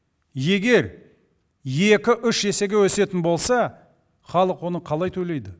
егер екі үш есеге өсетін болса халық оны қалай төлейді